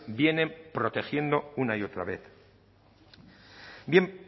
vienen protegiendo una y otra vez bien